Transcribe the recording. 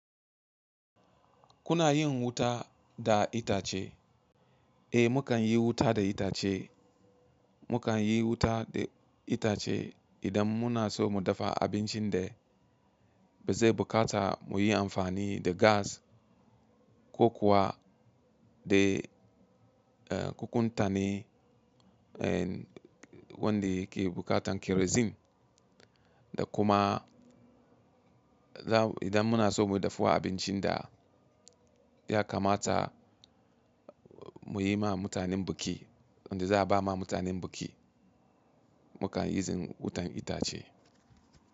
Kuna yin wuta da itace? Eh, mu kan yi wuta da itace. Mu kan yi wuta da itace idan muna so mu dafa abincin da ba zai bukata mu yi amfani da gas ko kuwa da kukuntane wanda yake bukatan kerozin da kuma idan muna so mu dafuwa abincin da ya kamata mu yi ma mutanen biki wanda za a ba ma mutanen biki mu kan yi zin wutan itace.